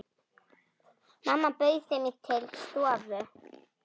Mamma bauð þeim til stofu.